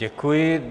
Děkuji.